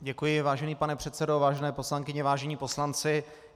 Děkuji, vážený pane předsedo, vážené poslankyně, vážení poslanci.